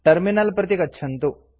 terminal प्रति गच्छन्तु